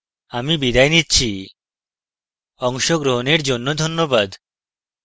I I T Bombay থেকে আমি বিদায় নিচ্ছি অংশগ্রহনের জন্যে ধন্যবাদ